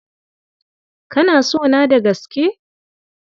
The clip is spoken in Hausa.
Kana sona da gaske?